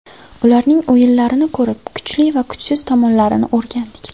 Ularning o‘yinlarini ko‘rib, kuchli va kuchsiz tomonlarini o‘rgandik.